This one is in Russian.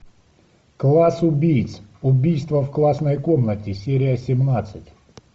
класс убийц убийство в классной комнате серия семнадцать